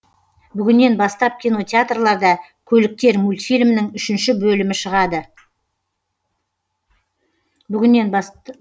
бүгіннен бастап кинотеатрларда көліктер мультфильмінің үшінші бөлімі шығады